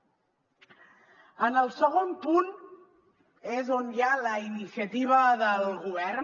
en el segon punt és on hi ha la iniciativa del govern